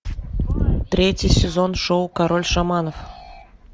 третий сезон шоу король шаманов